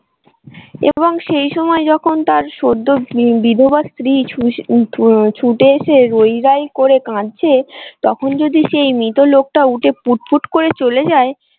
এবং সেই সময় যখন তার সদ্য বিধবা স্ত্রী ছুটে এসে রৈরাই করে কাঁদছে তখন যদি সেই মৃত লোকটা উঠে পুটপুট করে চলে যায়।